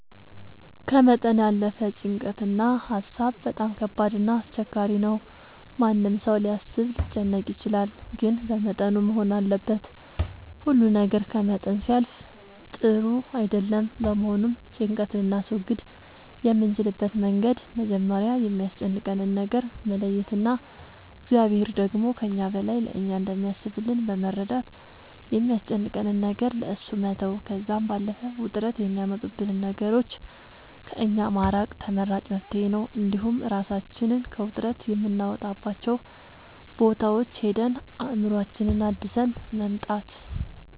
ከመጠን ያለፈ ጭንቀት እና ሀሳብ በጣም ከባድ እና አስቸጋሪ ነው ማንም ሰው ሊያስብ ሊጨነቅ ይችላል ግን በመጠኑ መሆን አለበት ሁሉ ነገር ከመጠን ሲያልፍ ጥሩ አይደለም በመሆኑም ጭንቀት ልናስወግድ የምንችልበት መንገድ መጀመሪያ የሚያስጨንቀንን ነገር መለየት እና እግዚአብሔር ደግሞ ከእኛ በላይ ለእኛ እንደሚያስብልን በመረዳት የሚያስጨንቀንን ነገር ለእሱ መተው ከዛም ባለፈ ውጥረት የሚያመጡብንን ነገሮች ከእኛ ማራቅ ተመራጭ መፍትሄ ነው እንዲሁም እራሳችንን ከውጥረት የምናወጣባቸው ቦታዎች ሄደን አእምሮአችንን አድሰን መምጣት